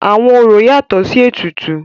Àwọn orò yatọ̀ sí ètùtù.